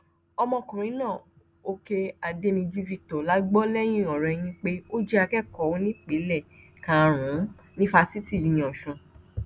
ọmọkùnrin náà òkè adémíjú victor la gbọ lẹyìnọrẹyìn pé ó jẹ akẹkọọ onípele karùn-ún ní fásitì uniosun